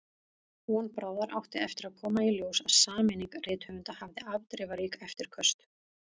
Von bráðar átti eftir að koma í ljós að sameining rithöfunda hafði afdrifarík eftirköst.